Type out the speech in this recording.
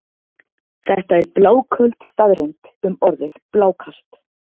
Þetta er bláköld staðreynd um orðið blákalt.